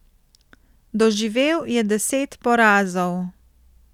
Doživel je deset porazov.